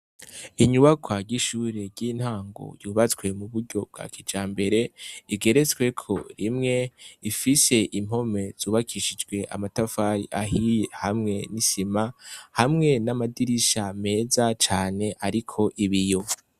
Inyubakwa y ishure ryintango yubatswe uburyo bwa kijambere igeretsweho rimwe, ifise impome zubakishije amatafari ahiye hamwe nisima, hamwe namadirisha meza cane ariko ibiyo.